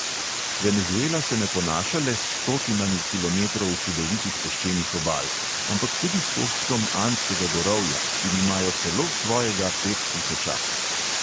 Venezuela se ne ponaša le s stotinami kilometrov čudovitih peščenih obal, ampak tudi s koščkom andskega gorovja in imajo celo svojega pettisočaka.